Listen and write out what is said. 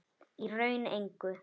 Í raun engu.